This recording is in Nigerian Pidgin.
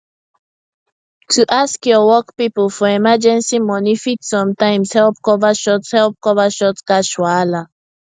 to ask your work people for emergency money fit sometimes help cover short help cover short cash wahala